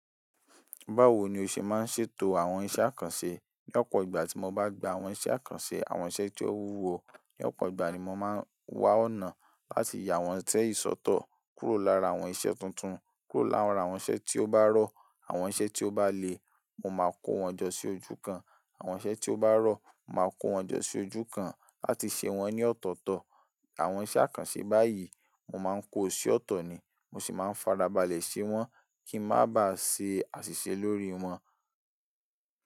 Báwo ni o ṣe máa ń ṣètò àwọn iṣẹ́ àkànṣe? Ní ọ̀pọ̀ ìgbà tí mo bá gba àwọn iṣẹ́ àkànṣe, àwọn iṣẹ́ tí ó wúwo, ní ọ̀pọ̀ ìgbà ni mo máa ń wá ọ̀nà láti yà awọ́n isẹ́ yi sọ̀tọ̀, kúrò lára àwọn iṣẹ́ tuntun, kúrò lára àwọn iṣẹ́ tí ó bá rọ̀, àwọn iṣẹ́ tí ó bá le, mo máa kó wọn jọ sí ojú kan. Àwọn iṣẹ́ tí ó bá rọ̀, màá kó wọn jọ sí ojú kan láti ṣe wọ́n ní ọ̀tọ̀ọ̀tọ̀. Àwọn iṣẹ́ àkànṣe báyìí, mo máa ń kó sí ọ̀tọ̀ ni, mo sì máa ń fara balẹ̀ ṣe wọ́n kí ń má bá ṣe àṣìṣe lórí wọn.